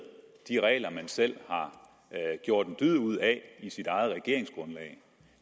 de regler man selv har gjort en dyd ud af i sit eget regeringsgrundlag